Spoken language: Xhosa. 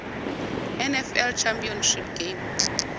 nfl championship game